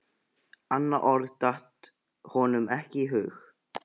Annað orð datt honum ekki í hug.